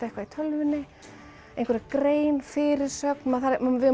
eitthvað í tölvunni einhverja grein fyrirsögn við